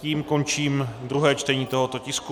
Tím končím druhé čtení tohoto tisku.